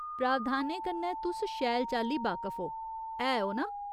प्रावधानें कन्नै तुस शैल चाल्ली बाकफ ओ, है ओ ना ?